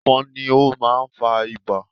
Ẹ̀fọ̀n ni ó máa ń fa Ibà